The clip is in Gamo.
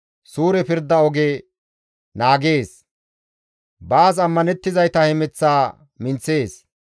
Suure pirda oge naagees; baas ammanettizayta hemeth minththees.